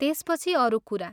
त्यसपछि अरू कुरा।